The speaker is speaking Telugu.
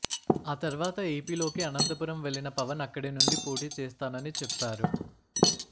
ఆ తర్వాత ఏపీలోకి అనంతపురం వెళ్ళిన పవన్ అక్కడి నుండి పోటీ చేస్తానని చెప్పారు